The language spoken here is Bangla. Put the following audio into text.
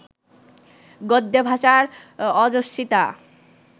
গদ্যে ভাষার ওজস্বিতা